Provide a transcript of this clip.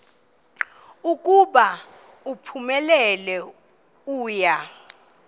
ukuba uphumelele uya